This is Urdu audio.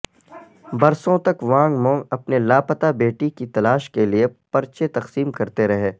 برسوں تک وانگ منگ اپنے لاپتہ بیٹی کی تلاش کے لیے پرچے تقسیم کرتے رہے